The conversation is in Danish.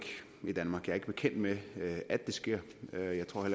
i danmark jeg er ikke bekendt med at det sker og jeg tror